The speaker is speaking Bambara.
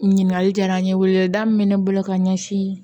Ɲininkali diyara n ye min bɛ ne bolo ka ɲɛsin